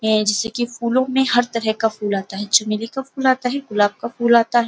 है जैसे की फूलों में हर तरह का फूल आता है। चमेली का फूल आता है गुलाब का फूल आता है।